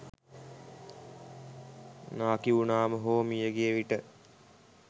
නාකිවුනාම හෝ මියගිය විට.